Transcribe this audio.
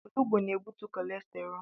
Olugbu na-ebutu kọlesterọọl.